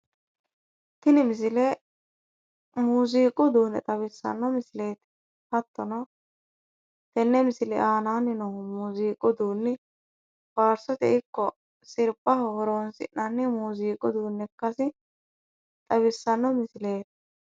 Tini misile muuziiqu uduunne xawissanno misileeti. Hattono tenne misile aanaanni noohu faarsoteno ikko sirbaho horonsi'nanni muuziiqu uduunne ikkasi xawissanno misileeti.